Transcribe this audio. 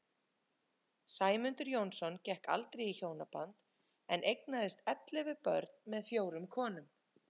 Sæmundur Jónsson gekk aldrei í hjónaband en eignaðist ellefu börn með fjórum konum.